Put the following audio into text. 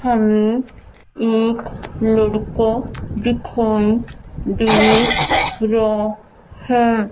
हमे एक लड़का दिखाई दे रा है।